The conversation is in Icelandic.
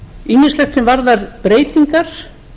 ýmislegt sem varðar breytingar